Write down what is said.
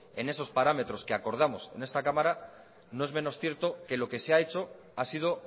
en esos parámetros que acordamos en esta cámara no es menos cierto que lo que se ha hecho ha sido